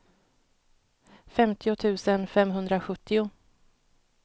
femtio tusen femhundrasjuttio